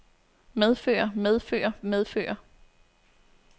medfører medfører medfører